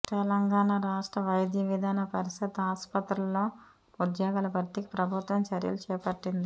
తెలంగాణ రాష్ట్ర వైద్య విధాన పరిషత్ ఆస్పత్రుల్లో ఉద్యోగాల భర్తీకి ప్రభుత్వం చర్యలు చేపట్టింది